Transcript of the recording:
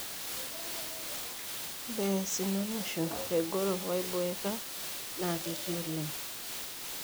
Ore aisinanisho, egoro waiboeka na ketii oleng.